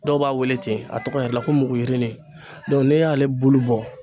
Dɔw b'a wele ten a tɔgɔ yɛrɛ la ko muguyirini dɔn ni y'ale bulu bɔ